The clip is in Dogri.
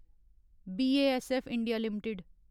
BASF India limited